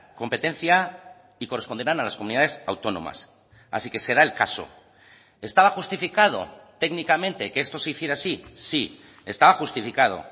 competencia y corresponderán a las comunidades autónomas así que será el caso estaba justificado técnicamente que esto se hiciera así sí estaba justificado